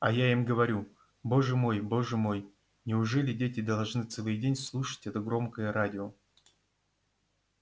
а я им говорю боже мой боже мой неужели дети должны целый день слушать это громкое радио